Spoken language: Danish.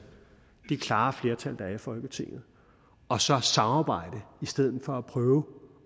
det klare flertal der er i folketinget og så samarbejde i stedet for at prøve